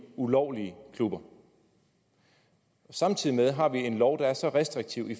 ulovlige klubber samtidig har vi en lov der er så restriktiv i